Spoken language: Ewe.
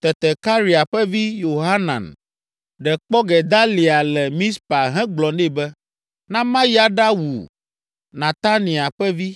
Tete Karea ƒe vi, Yohanan ɖe kpɔ Gedalia le Mizpa hegblɔ nɛ be, “Na mayi aɖawu Netania ƒe vi,